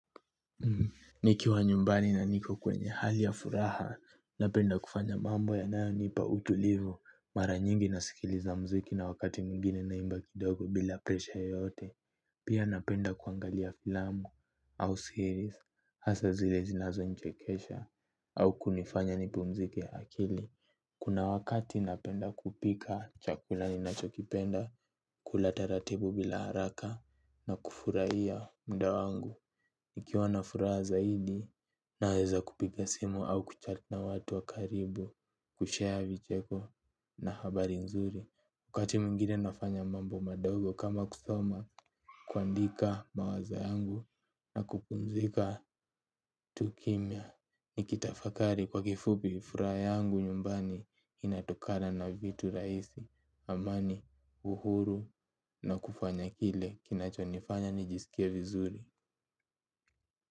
Nikiwa nyumbani na niko kwenye hali ya furaha napenda kufanya mambo yanayo nipa utulivu, mara nyingi nasikiliza mziki na wakati mwingine naimba kidogo bila presha yote, pia napenda kuangalia filamu au series, hasa zile zinazo nichekesha, au kunifanya nipumzike akili. Kuna wakati napenda kupika chakula ninachokipenda kula taratibu bila haraka na kufurahia muda wangu. Nikiwa na furaha zaidi naweza kupiga simu au kuchat na watu wa karibu kushare vicheko na habari nzuri. Wakati mwingine nafanya mambo madogo kama kusoma kuandika mawazo yangu na kupumzika tu kimya. Niki tafakari kwa kifupi furaha yangu nyumbani inatokana na vitu rahisi. Amani, uhuru na kufanya kile kinachonifanya nijisikie vizuri.